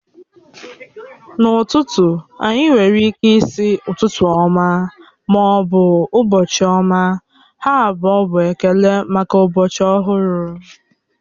N'ụtụtụ, anyị nwere ịke ịsi ụtụtụ ọma ma ọ bụ ụbọchị ọma, ha abụọ bụ ekele maka ụbọchị ọhụrụ